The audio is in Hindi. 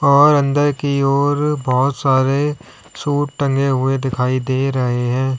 और अंदर की ओर बहोत सारे सूट टंगे हुए दिखाई दे रहे है।